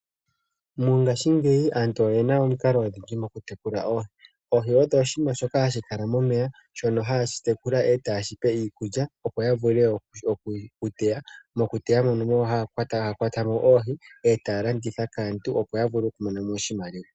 Mongaashingeyi aantu oyena omikalo odhindji mokutekula oohi. Oohi odho oshinima shoka hashi kala momeya, shono haye shi tekula , etayeshi pe iikulya opo yavule okuteya. Mokuteya mono ohaya kwatamo oohi, etaya landitha kaantu opo yavule oku mona mo oshimaliwa.